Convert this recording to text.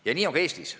Ja nii on ka Eestis.